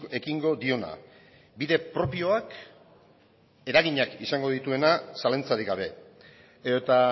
ekingo diona bide propioak eraginak izango dituena zalantzarik gabe edota